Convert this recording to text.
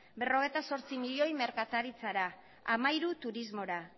berrogeita zortzi milioi merkataritzara hamairu turismora